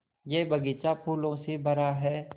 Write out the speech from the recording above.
यह बग़ीचा फूलों से भरा है